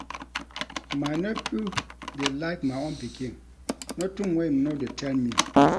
My nephew dey like my own pikin, notin wey im no dey tell me.